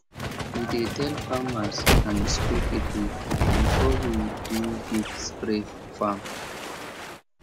we dey tell farmers and school people before we do big spray for farm